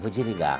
Vou desligar.